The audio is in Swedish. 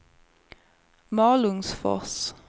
Malungsfors